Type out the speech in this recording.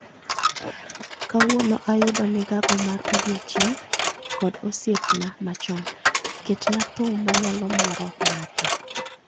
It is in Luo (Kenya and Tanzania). Kawuono ayudo migago mar odiechieng' kod osiepna machon, ketna thum manyalo moro ng'ato